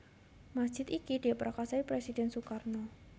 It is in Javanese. Masjid iki diprakarsai Presiden Sukarno